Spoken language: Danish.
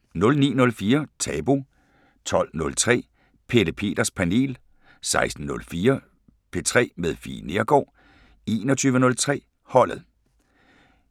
09:04: Tabu 12:03: Pelle Peters Panel 16:04: P3 med Fie Neergaard 21:03: Holdet